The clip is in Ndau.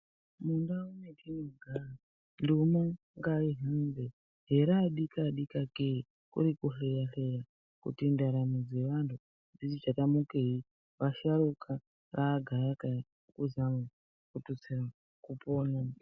Mundau matinogara, nduma ngaihambe, heraa dika-dika kee, kuri kuhleya-hleya kuti ndaramo dzevantu dziti changamukei. Vasharuka raagayakaya kuzama kututsira kupona.